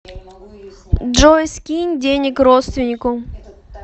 джой скинь денег родственнику